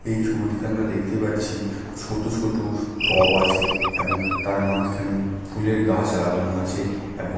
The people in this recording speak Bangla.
এই ছবিটিতে আমরা দেখতে পাচ্ছি ছোট ছোট টব আছে এবং তার মাঝখানে ফুলের গাছ লাগানো আছে। এবং --